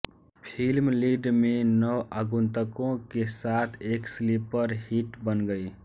film lead में नवागंतुकों के साथ एक स्लीपर हिट बन गई